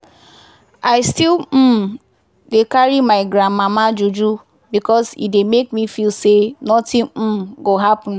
i still um dey carry my gran mama juju because e dey make me feel say nothing um go happen.